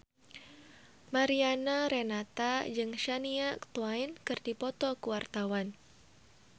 Mariana Renata jeung Shania Twain keur dipoto ku wartawan